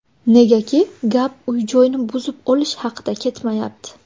Negaki gap uy-joyni buzib olish haqida ketmayapti.